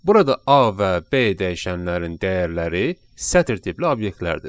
Burada A və B dəyişənlərin dəyərləri sətr tipli obyektlərdir.